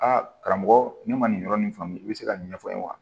A karamɔgɔ ne ma nin yɔrɔ nin faamu i bɛ se ka nin ɲɛfɔ n ye wa